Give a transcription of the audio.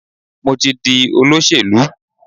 Mo ti di olóṣèlú.